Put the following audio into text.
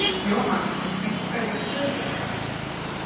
Jóhann: Einhverjar tölur?